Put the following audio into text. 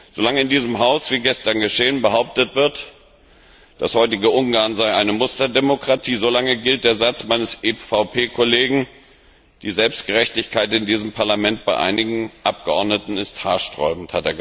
Solange in diesem Haus wie gestern geschehen behauptet wird, das heutige Ungarn sei eine Musterdemokratie, solange gilt der Satz meines EVP Kollegen Die Selbstgerechtigkeit in diesem Parlament bei einigen Abgeordneten ist haarsträubend.